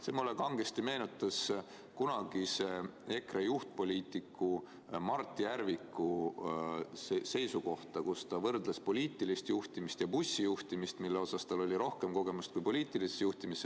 See meenutas mulle kangesti kunagise EKRE juhtpoliitiku Mart Järviku seisukohta, kes võrdles poliitilist juhtimist ja bussijuhtimist, milles tal oli rohkem kogemust kui poliitilises juhtimises.